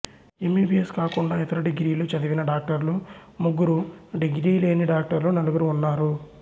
MBBS కాకుండా ఇతర డిగ్రీలు చదివిన డాక్టర్లు ముగ్గురు డిగ్రీ లేని డాక్టర్లు నలుగురు ఉన్నారు